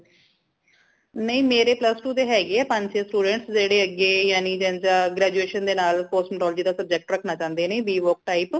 ਨਈ ਮੇਰੇ plus two ਦੇ ਹੈਗੇ ਪੰਝ ਛ student ਜੇੜੇ ਅਗੇ ਯਾਨੀ ਜੀਝ graduation ਦੇ ਨਾਲ cosmetology ਦਾ subject ਰੱਖਣਾ ਚਾਉਂਦੇ ਨੇ ਭੀ work type